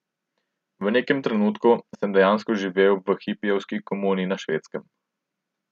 V nekem trenutku sem dejansko živel v hipijevski komuni na Švedskem.